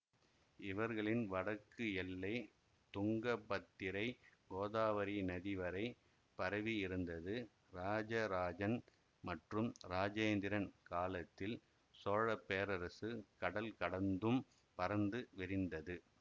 இவர்களின் வடக்கு எல்லை துங்கபத்திரை கோதாவரி நதிவரை பரவியிருந்தது இராஜராஜன் மற்றும் இராஜேந்திரன் காலத்தில் சோழப்பேரரசு கடல் கடந்தும் பரந்து விரிந்தது